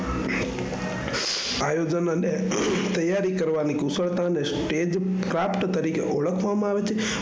આયોજન અને તૈયારી કરવાની કુશળતા ને Stage પ્રાપ્ત તરીકે ઓળખવામાં આવે છે.